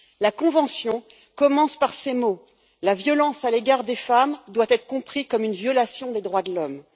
La convention commence par ces mots La violence à l'égard des femmes doit être comprise comme une violation des droits de l'homme.